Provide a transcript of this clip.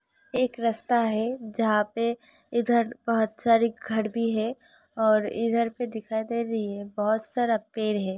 एक रस्ता है जहा पे इधर बहोत सारे घर भी हैं और इधर पे दिखाई दे रही है बहोत सारा पेड़ है।